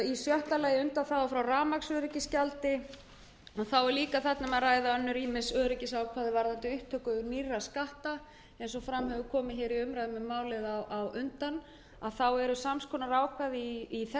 við reykjanesbæ undanþága frá rafmagnsöryggisgjaldi og þá er líka um að ræða ýmis öryggisákvæði varðandi upptöku nýrra skatta eins og fram hefur komið í umræðum um málið eru sams konar ákvæði í þessum